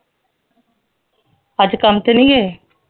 ਅੱਜ ਕੰਮ ਤੇ ਨਹੀਂ ਗਏ